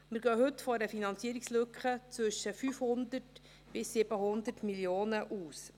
Wir gehen heute von einer Finanzierungslücke von zwischen 500 und 700 Mio. Franken aus.